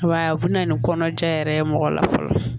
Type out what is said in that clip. Wa u bɛna ni kɔnɔja yɛrɛ ye mɔgɔ la fɔlɔ